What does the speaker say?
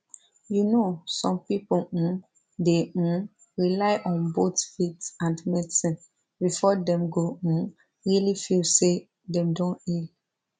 you know some people um dey um rely on both faith and medicine before dem go um really feel say dem don heal